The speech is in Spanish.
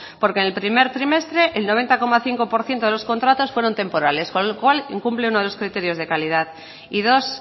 porque en el primer trimestre el noventa coma cinco por ciento de los contratos fueron temporales con lo cual incumple uno de los criterios de calidad y dos